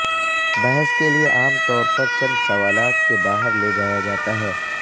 بحث کے لئے عام طور پر چند سوالات کے باہر لے جایا جاتا ہے